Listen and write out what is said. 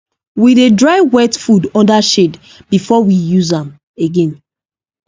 we dey dry wet food under shade before we use am again